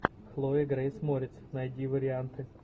хлоя грейс морец найди варианты